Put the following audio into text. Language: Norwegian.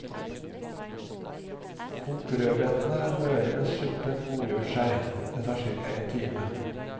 Kok rødbetene møre mens suppen godgjør seg, det tar cirka en time.